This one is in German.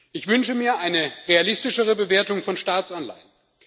Ich wünsche mir eine realistischere Bewertung von Staatsanleihen.